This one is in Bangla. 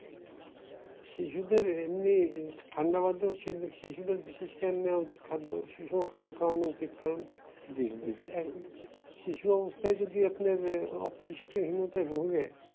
শিশুদের এমনি ঠান্ডা বাতাস শিশুদের বিশেষ ধ্যান দেওয়া উচিত। খাদ্য সুষম খাদ্য খাওয়ানো উচিত। কারণ এক শিশু অবস্থায় যদি আপনার ই অপুষ্টি হীনতায় ভোগে